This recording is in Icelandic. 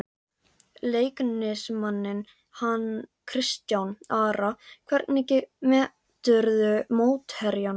Leiknismanninn hann Kristján Ara Hvernig meturðu mótherjana?